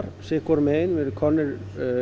sitt hvorum megin við erum komnir